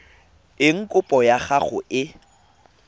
eng kopo ya gago e